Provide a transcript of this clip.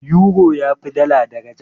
Yuro tafi dala daraja.